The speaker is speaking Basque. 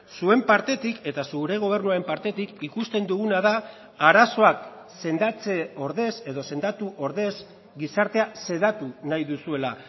zuen partetik eta zure gobernuaren partetik ikusten duguna da arazoak sendatze ordez edo sendatu ordez gizartea sedatu nahi duzuela